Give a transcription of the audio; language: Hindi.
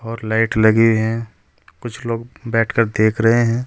और लाइट लगी है कुछ लोग बैठकर देख रहे हैं।